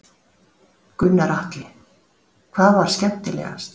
Gunnar Atli: Hvað var skemmtilegast?